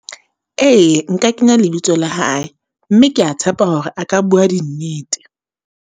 Ee, nka kenya lebitso la hae, mme ke ya tshepa hore a ka bua di nnete.